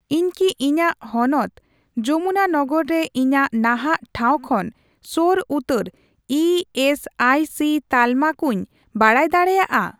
ᱤᱧ ᱠᱤ ᱤᱧᱟᱜ ᱦᱚᱱᱚᱛ ᱡᱚᱢᱩᱱᱟᱱᱚᱜᱚᱨ ᱨᱮ ᱤᱧᱟᱜ ᱱᱟᱦᱟᱜ ᱴᱷᱟᱶ ᱠᱷᱚᱱ ᱥᱳᱨ ᱩᱛᱟᱹᱨ ᱤ ᱮᱥ ᱟᱭ ᱥᱤ ᱛᱟᱞᱢᱟ ᱠᱚᱧ ᱵᱟᱲᱟᱭ ᱫᱟᱲᱮᱭᱟᱜᱼᱟ ᱾